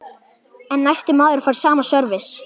En næsti maður fær sama sörvis.